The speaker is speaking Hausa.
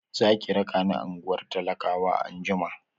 Za ki raka ni ungwar talakawa anjima?